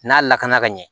N'a lakana ka ɲɛ